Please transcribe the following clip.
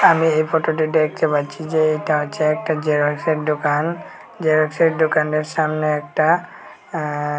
আমি এই ফটোটি ডেকটে পাচ্ছি যে এটা হচ্ছে একটা জেরক্সের ডোকান জেরক্সের ডোকানের সামনে একটা আঃ--